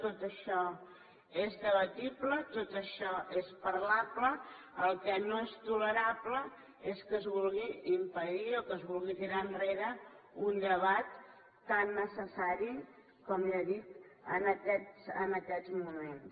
tot això és debatible tot això és parlable el que no és tolerable és que es vulgui impedir o que es vulgui tirar enrere un debat tan necessari com ja dic en aquests moments